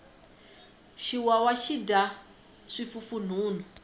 xiwawa xi dya swifufunhunhu